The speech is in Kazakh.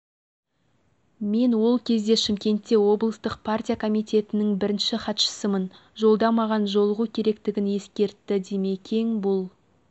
мен ол кезде шымкентте облыстық партия комитетінің бірінші хатшысымын жолда маған жолығу керектігін ескертті димекең бұл